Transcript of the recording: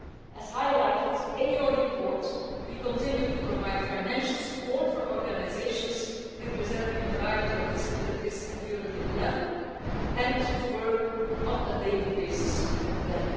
As was highlighted in your report, we continue to provide financial support for organisations representing a variety of disabilities at European level, and to work on a daily basis with them.